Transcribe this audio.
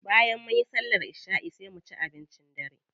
Bayan munyi sallar isha'i sai a ci abincin dare.